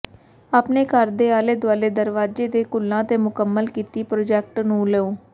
ਆਪਣੇ ਘਰ ਦੇ ਆਲੇ ਦੁਆਲੇ ਦਰਵਾਜ਼ੇ ਦੇ ਘੁੱਲਾਂ ਤੇ ਮੁਕੰਮਲ ਕੀਤੀ ਪ੍ਰੋਜੈਕਟ ਨੂੰ ਲਓ